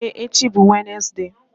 Ee echi bụ Wenezde.